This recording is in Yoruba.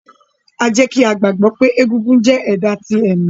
A jẹ ki a gbagbọ pe egúngún jẹ ẹda ti ẹmi.